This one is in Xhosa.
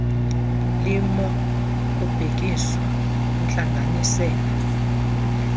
limo kubhekiswa kwintlanganisela